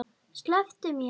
Slepptu mér!